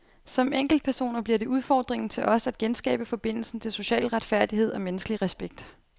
Som enkeltpersoner bliver det udfordringen til os at genskabe forbindelsen til social retfærdighed og menneskelig respekt.